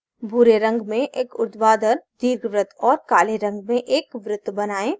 भूरे रंग में एक उर्ध्वाधर दीर्घवृत्त और काले रंग में एक वृत्त बनाएँ